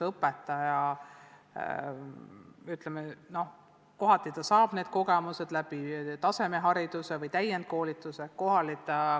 Õpetaja omandab need kogemused kas tasemehariduse või täiendkoolituse abil.